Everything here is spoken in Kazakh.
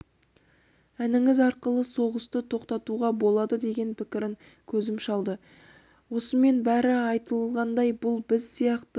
әніңіз арқылы соғысты тоқтатуға болады деген пікірін көзім шалды осымен бәрі айтылғандай бұл біз сияқты